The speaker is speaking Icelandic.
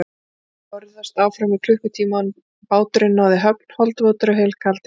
Þeir börðust áfram í klukkutíma áður en báturinn náði höfn, holdvotir og helkaldir.